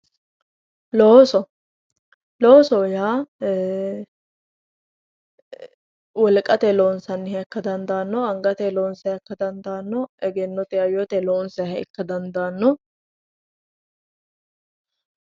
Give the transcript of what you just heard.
Loosoho yaa wolqateyii loonsanniha ikka dandaanno angateyii loonsayiiha ikka dandaanno egennoteyii hayyoteyii loonsayiiha ikka dandaanno